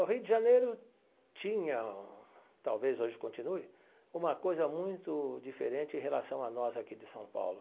O Rio de Janeiro tinha, talvez hoje continue, uma coisa muito diferente em relação a nós aqui de São Paulo.